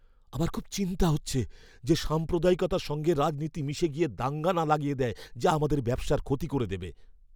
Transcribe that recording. আমার খুব চিন্তা হচ্ছে যে সাম্প্রদায়িকতার সঙ্গে রাজনীতি মিশে গিয়ে দাঙ্গা না লাগিয়ে দেয় যা আমাদের ব্যবসার ক্ষতি করে দেবে!